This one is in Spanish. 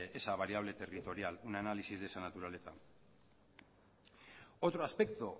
esa variable territorial un análisis de esa naturaleza otro aspecto